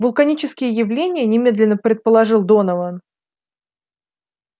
вулканические явления немедленно предположил донован